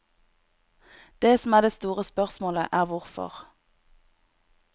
Det som er det store spørsmålet er hvorfor.